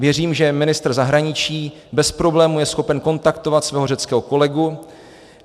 Věřím, že ministr zahraničí bez problémů je schopen kontaktovat svého řeckého kolegu.